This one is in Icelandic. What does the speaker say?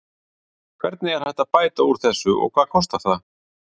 Hvernig er hægt að bæta úr þessu og hvað kostar það?